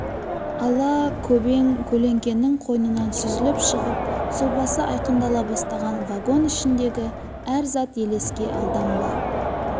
ала көбең көлеңкенің қойнынан сүзіліп шығып сұлбасы айқындала бастаған вагон ішіндегі әр зат елеске алдан ба